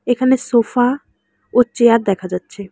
এখানে সোফা ও চেয়ার দেখা যাচ্ছে।